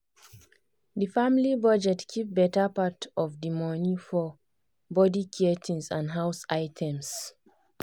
the family budget keep better part of the money for body care things and house items.